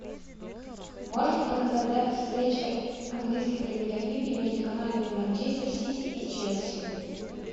можешь показать запись встречи английской премьер лиги между командами манчестер сити и челси